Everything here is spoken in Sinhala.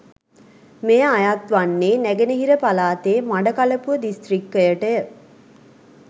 මෙය අයත් වන්නේ නැගෙනහිර පළාතේ මඩකලපුව දිස්ත්‍රික්කයටය.